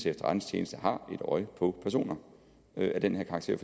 efterretningstjeneste har et øje på personer af den her karakter